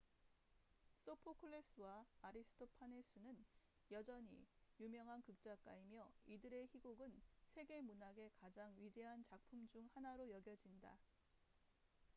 소포클레스sophocles와 아리스토파네스aristophanes는 여전히 유명한 극작가이며 이들의 희곡은 세계 문학의 가장 위대한 작품 중 하나로 여겨진다